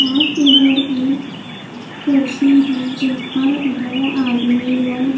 और इधर एक कुर्सी है जिस पर दो आदमी लोग--